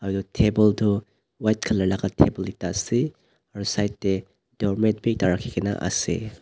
edu table tu white colour laka table ase aro side tae doormat bi ekta rakhikena ase.